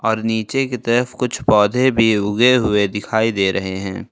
और नीचे की तरफ कुछ पौधे भी उगे हुए दिखाई दे रहे हैं।